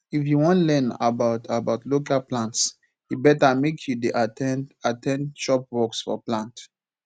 if you wan learn about about local plants e better make you dey at ten d at ten d workshops for plant